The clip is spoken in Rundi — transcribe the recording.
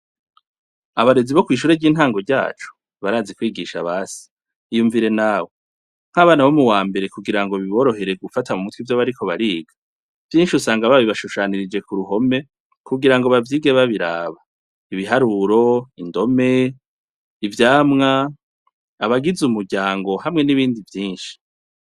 Abarezi bo kwishure ryintango ryacu barazi kwigisha basi iyumvire nawe nkabana bo muwambere kugirango biboroherere gufata kumutwe ivyo bariko bariga vyinshi usanga barabishushanganya kugirango bavyige biborohere gufata kumutwe ivyo bariko bariga vyinshi usanga babishushanganije kuruhome kugirango bavyige babiharuro indome ivyamwa abagize umuryango hamwe nibindi vyinshi